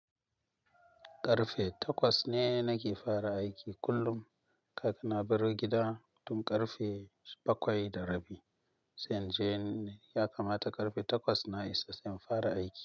Karfe takwas ne nake fara aiki kullum. Kafin na bar gida tun karfe bakwai da rabi. Sai inje ne ya kamata karfe takwas na isa don fara aiki.